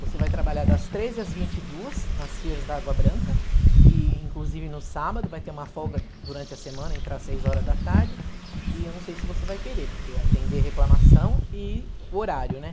Você vai trabalhar das treze às vinte e duas, nas Sears da Água Branca, e inclusive no sábado, vai ter uma folga durante a semana, entra às seis horas da tarde, e eu não sei se você vai querer, porque atender reclamação e horário, né?